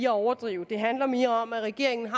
overdrive det handler mere om at regeringen har